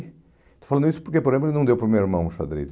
Estou falando isso porque, por exemplo, ele não deu para o meu irmão xadrez.